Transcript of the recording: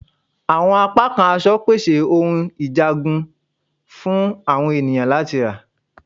Awọn apakan aṣọ pese awọn ohun njagun fun awọn eniyan lati ra